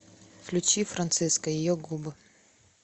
включи франциско ее губы